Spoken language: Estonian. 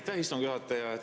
Aitäh, istungi juhataja!